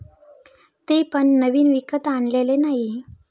ते पण नवीन विकत आणलेले नाही.